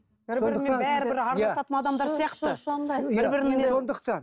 бір бірімен бәрі бір араласатын адамдар сияқты